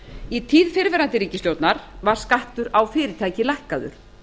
í tíð fyrrverandi ríkisstjórnar var skattur á fyrirtæki lækkaður